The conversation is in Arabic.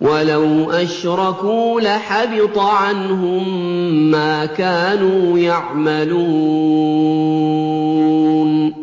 وَلَوْ أَشْرَكُوا لَحَبِطَ عَنْهُم مَّا كَانُوا يَعْمَلُونَ